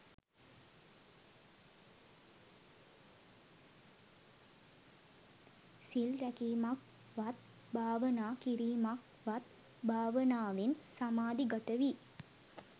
සිල් රැකීමක්වත්, භාවනා කිරීමක්වත් භාවනාවෙන් සමාධිගත වී